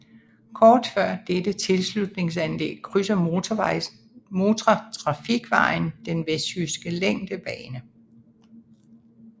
Kort før dette tilslutningsanlæg krydser motortrafikvejen den vestjyske længdebane